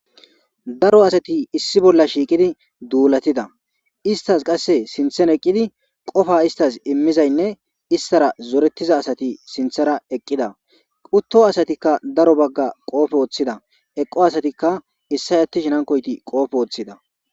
Darro assati issi bolla shiqidi dulatidda esitazi sinithani eqidi qofa esitassi imidda imizayinne isitara zoretidda assati sinithara eqidda utto assatikka darro bagga qobbe wothidda eqo assatika issoyi atishini hankoyi qobe wothidda.